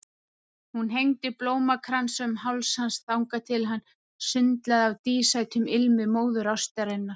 Hún hengdi blómakransa um háls hans þangað til hann sundlaði af dísætum ilmi móðurástarinnar.